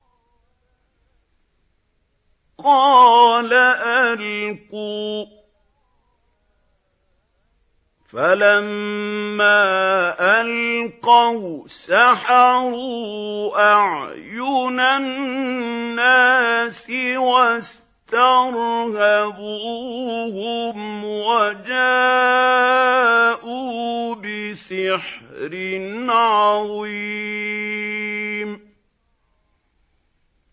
قَالَ أَلْقُوا ۖ فَلَمَّا أَلْقَوْا سَحَرُوا أَعْيُنَ النَّاسِ وَاسْتَرْهَبُوهُمْ وَجَاءُوا بِسِحْرٍ عَظِيمٍ